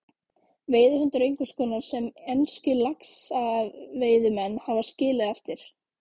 Veiðihundur einhvers konar sem enskir laxveiðimenn hafa skilið eftir.